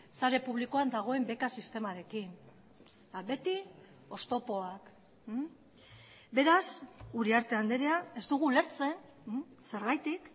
sare publikoan dagoen beka sistemarekin beti oztopoak beraz uriarte andrea ez dugu ulertzen zergatik